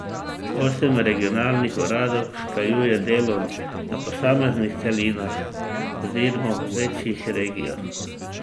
Osem regionalnih uradov usklajuje delo na posameznih celinah oziroma v večjih regijah.